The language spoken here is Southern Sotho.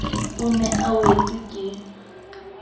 o ne a wetswe ke